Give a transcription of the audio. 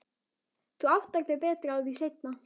Þú áttar þig betur á því seinna.